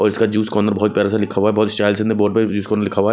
और इसका juice corner बहोत प्यारा सा दिखा हुआ है बहोत साहिल जूस कॉर्नर लिखा हुआ है।